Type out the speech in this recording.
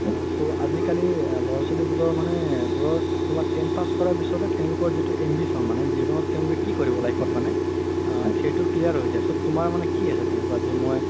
so আজিকালি ল'ৰা ছোৱালিবোৰৰ মানে tenth pass কৰাৰ পিছতে তেওলোকৰ যিতো ambition মানে জিৱনত তেওলোকে কি কৰিব life ত মানে আ সেইটো clear হয় যাই তুমাৰ মানে কি আছে তেনেকুৱা যে মই